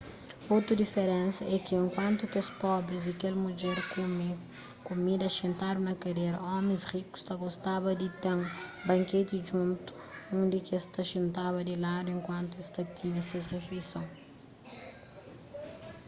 otu diferensa é ki enkuantu kes pobris y kel mudjer kume kumida xintadu na kadera omis rikus ta gostaba di ten banketi djuntu undi ki es ta xintaba di ladu enkuantu es ta tinha ses rifeison